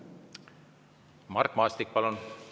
Mart Maastik, palun!